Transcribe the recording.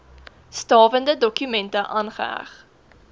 stawende dokumente aangeheg